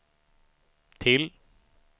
till